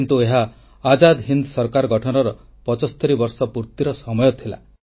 କିନ୍ତୁ ଏହା ଆଜାଦ ହିନ୍ଦ ସରକାର ଗଠନର 75 ବର୍ଷ ପୂର୍ତ୍ତିର ସମୟ ଥିଲା